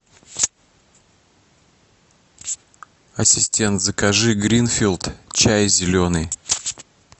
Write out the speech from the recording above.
ассистент закажи гринфилд чай зеленый